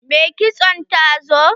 Mai kitson ta zo?